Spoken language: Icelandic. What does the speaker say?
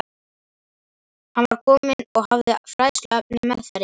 Hann var kominn og hafði fræðsluefnið meðferðis.